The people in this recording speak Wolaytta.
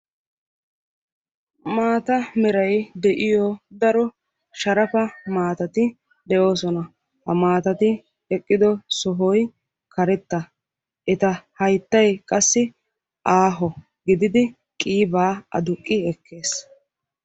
maata meray de'iyo daro sharafa maatati de'oososna. Ha maatati de'iyo sohoy karetta, eta hayttay qassi aaho, gididdi qassi qiibaa aduqqi ekkes,